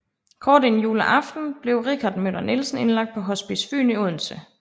Kort inden juleaften blev Richard Møller Nielsen indlagt på Hospice Fyn i Odense